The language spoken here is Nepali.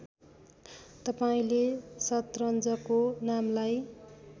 तपाईँले शतरन्जको नामलाई